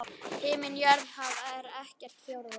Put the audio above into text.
Himinn jörð haf er ekkert fjórða?